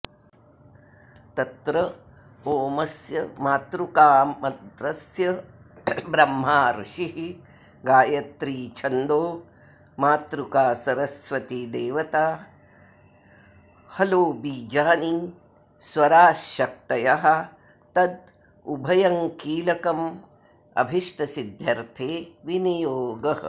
तत्र ओमस्य मातृकामन्त्रस्य ब्रह्मा ऋषिर्गायत्री छन्दो मातृकासरस्वतीदेवता हलो बीजानि स्वराश्शक्तयस्तदुभयङ्कीलकमभीष्टसिद्ध्यर्त्थे विनियोगः